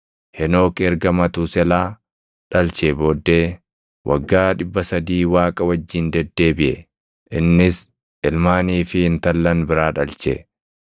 Henook erga Matuuselaa dhalchee booddee waggaa 300 Waaqa wajjin deddeebiʼe; innis ilmaanii fi intallan biraa dhalche.